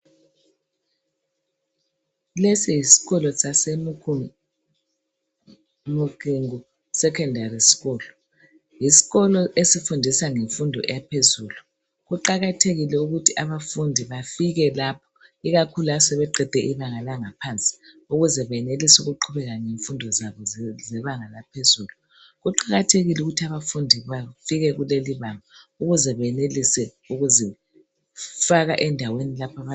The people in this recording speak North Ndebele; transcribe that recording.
Lesi yiskolo sase Mukingi Secondary School. Yisikolo esifundisa imfundo yaphezulu. Kuqakathekile ukuthi abafundi bafike lapha. Ikakhulu asebeqede ibanga langa phansi ukuze benelise ukuqhubeka ngemfundo zabo ze banga laphezulu. Kuqakathekile ukuthi abafundi bafike kuleli banga ukuze benelise ukuzifaka endaweni lapha aba.